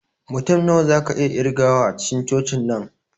Mutum nawa zaka iya ƙirgawa a cikin cocin nan?